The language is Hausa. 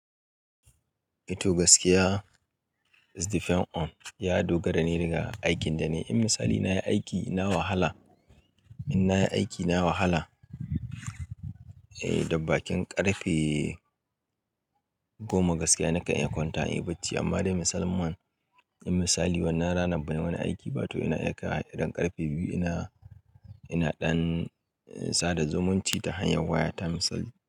To gaskiya is depend on. Ya dogara ne daga aikin da nai. In misali na yi aiki, na wahala. In na yi aiki, na wahala, eh, da bakin ƙarfe goma gaskiya nakan iya kwanta inyi bacci. Amma dai misalan man, in misali wannan ranan bani wani aiki ba toh ina iya kaiwa idan ƙarfe biyu ina, ina ɗan sada zumunci ta hanyar waya ta misali.